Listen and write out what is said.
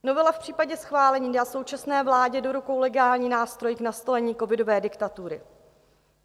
Novela v případě schválení dá současné vládě do rukou legální nástroj k nastolení covidové diktatury.